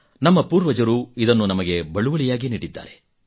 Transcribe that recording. ನಮ್ಮ ಪೂರ್ವಜರು ಇದನ್ನು ನಮಗೆ ಬಳುವಳಿಯಾಗಿ ನೀಡಿದ್ದಾರೆ